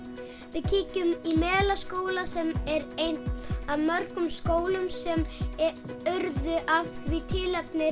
við kíkjum í Melaskóla sem er einn af mörgum skólum sem urðu af því tilefni